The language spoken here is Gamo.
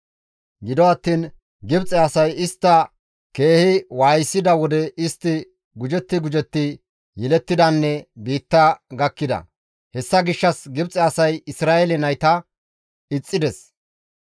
Gido attiin Gibxe asay istta keehi waayisida wode istti gujetti gujetti yelettidanne biitta gakkida. Hessa gishshas Gibxe asay Isra7eele nayta ixxides.